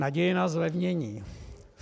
Naděje na zlevnění.